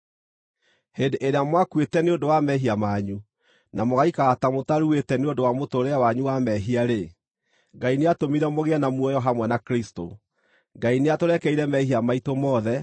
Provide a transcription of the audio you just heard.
Hĩndĩ ĩrĩa mwakuĩte nĩ ũndũ wa mehia manyu na mũgaikara ta mũtaruĩte nĩ ũndũ wa mũtũũrĩre wanyu wa mehia-rĩ, Ngai nĩatũmire mũgĩe na muoyo hamwe na Kristũ. Ngai nĩatũrekeire mehia maitũ mothe,